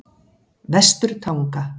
Vesturtanga